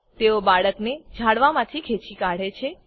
તેઓ બાળકને ઝાંડવાંમાથી ખેંચી કાઢે છે